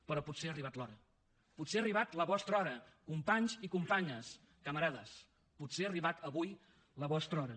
però potser ha arribat l’hora potser ha arribat la vostra hora companys i companyes camarades potser ha arribat avui la vostra hora